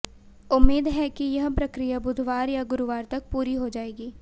उम्मीद है कि यह प्रक्रिया बुधवार या गुरुवार तक पूरी हो जाएगी